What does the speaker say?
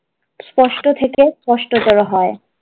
স্পষ্ট থেকে স্পষ্ট করা হয়।